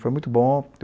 Foi muito bom.